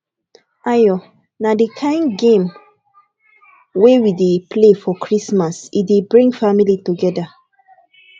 ayo na di kain game wey we dey play for christmas e dey bring family togeda